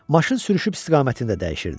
Maşın sürüşüb istiqamətində dəyişirdi.